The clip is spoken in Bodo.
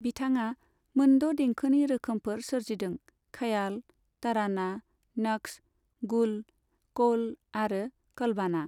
बिथाङा मोनद' देंखोनि रोखोमफोर सोरजिदों, खयाल, तराना, नक्श, गुल, कौल आरो कलबाना।